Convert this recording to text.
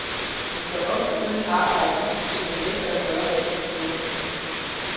Han står ofte uden arbejde, fordi han nægter at gøre, hvad de siger.